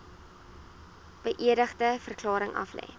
beëdigde verklaring aflê